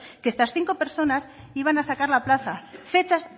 que estas cinco personas iban a sacar la plaza fechas